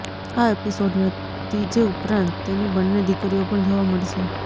આ એપિસોડમાં તીજે ઉપરાંત તેની બન્ને દીકરીઓ પણ જોવા મળશે